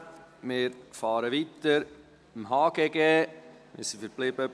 – Wir fahren mit dem Gesetz über Handel und Gewerbe (HGG) weiter.